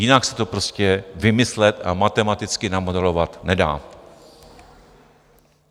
Jinak se to prostě vymyslet a matematicky namodelovat nedá.